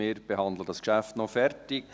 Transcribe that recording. Wir behandeln dieses Geschäft noch zu Ende.